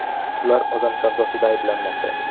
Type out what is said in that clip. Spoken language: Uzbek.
Ular odam savdosida ayblanmoqda.